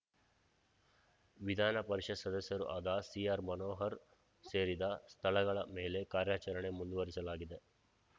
ವಿಧಾನಪರಿಷತ್‌ ಸದಸ್ಯರೂ ಆದ ಸಿಆರ್‌ಮನೋಹರ್‌ ಸೇರಿದ ಸ್ಥಳಗಳ ಮೇಲೆ ಕಾರ್ಯಾಚರಣೆ ಮುಂದುವರಿಸಲಾಗಿದೆ